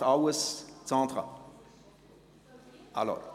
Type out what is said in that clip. Übernimmt dies alles Sandra Roulet?